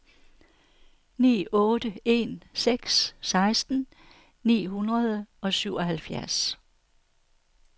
ni otte en seks seksten ni hundrede og syvoghalvfjerds